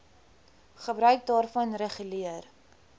gebruik daarvan reguleer